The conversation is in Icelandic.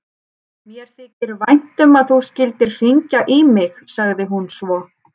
Mér þykir vænt um að þú skyldir hringja í mig, sagði hún svo.